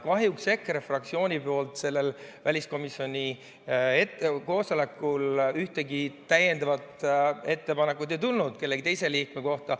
Kahjuks EKRE fraktsioonilt sellel väliskomisjoni koosolekul ühtegi täiendavat ettepanekut ei tulnud kellegi teise liikme kohta.